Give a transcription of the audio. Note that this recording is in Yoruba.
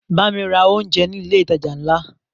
Bámi ra oúnjẹ ní ilé ìtajà ńlá!